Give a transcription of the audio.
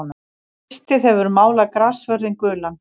Haustið hefur málað grassvörðinn gulan.